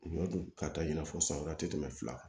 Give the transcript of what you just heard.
Ɲɔ dun ka taa i n'a fɔ san wɛrɛ tɛ tɛmɛ fila kan